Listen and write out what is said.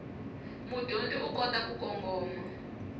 mudyondzi u kota ku kongoma